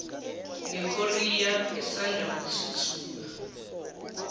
nekorea asanda kuthuthuka